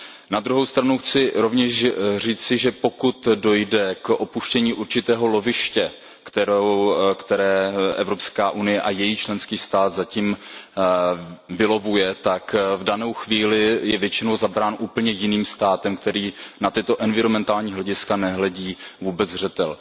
Na druhou stranu chci rovněž říci, že pokud dojde k opuštění určitého loviště, které EU a její členský stát zatím vylovuje, tak v danou chvíli je většinou zabráno úplně jiným státem, který na tyto environmentální hlediska nebere vůbec zřetel.